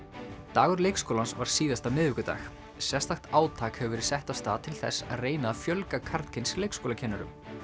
dagur leikskólans var síðasta miðvikudag sérstakt átak hefur verið sett af stað til þess að reyna að fjölga karlkyns leikskólakennurum